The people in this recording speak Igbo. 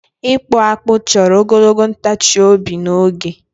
ịkpụ akpụ chọrọ ogologo ntachi obi na oge